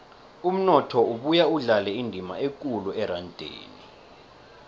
umnotho ubuya udlale indima ekulu erandeni